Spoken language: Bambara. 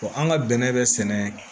an ka bɛnɛ bɛ sɛnɛ